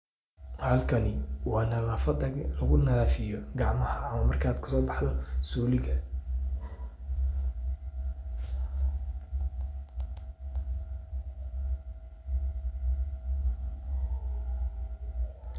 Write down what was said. Halkani waa nadafada lagu nadiifiyo gacmaha marka kasoo baxdo suliga.